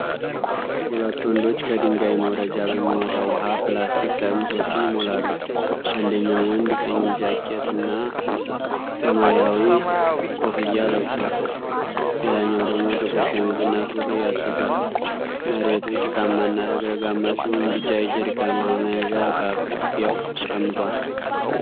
ሁለት ወንዶች ከድንጋይ መውረጃ በሚወጣ ውሃ ፕላስቲክ ጠርሙሶችን ይሞላሉ። አንደኛው ወንድ ቀይ ጃኬት እና ሰማያዊ ኮፍያ ለብሷል፣ ሌላኛው ደግሞ ጥቁር ሸሚዝና ሱሪ አድርጓል። መሬቱ ጭቃማና ረግረጋማ ሲሆን ቢጫ የጀሪካን ውሃ መያዣ በአቅራቢያው ተቀምጧል።